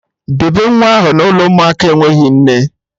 Debe nwa ahụ n'ụlọ ụmụaka enweghị nne